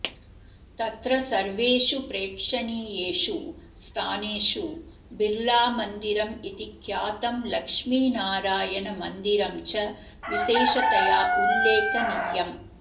तत्र सर्वेषु प्रेक्षणीयेषु स्थानेषु बिर्लामन्दिरमिति ख्यातं लक्ष्मीनारायणमन्दिञ्च विशेषतया उल्लेखनीयम्